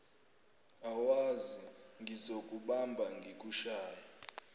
awazi ngizokubamba ngikushaye